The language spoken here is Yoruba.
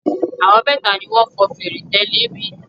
Àwọn mẹ́ta ni wọn fọn fèrè tẹ́lẹ̀ mi.